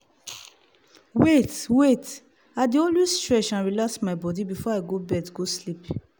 wait wait - i dey always stretch and relax my body before i go bed go sleep